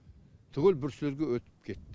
түгел бруцеллезге өтіп кетті